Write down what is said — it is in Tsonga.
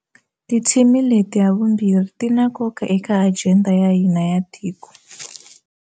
Tithimi leti havumbirhi ti na nkoka eka ajenda ya hina ya tiko.